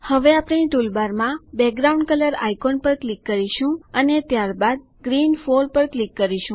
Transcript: હવે ટૂલબારમાં background colour icon પર ક્લિક કરો અને ત્યારબાદ ગ્રીન 4 પર ક્લિક કરો